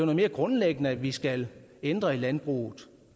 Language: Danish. mere grundlæggende vi skal ændre i landbruget